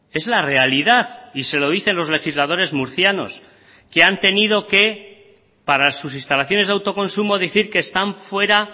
es la realidad y se lo dicen los legisladores murcianos que han tenido que para sus instalaciones de autoconsumo decir que están fuera